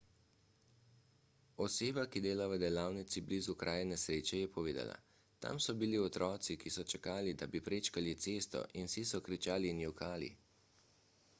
oseba ki dela v delavnici blizu kraja nesreče je povedala tam so bili otroci ki so čakali da bi prečkali cesto in vsi so kričali in jokali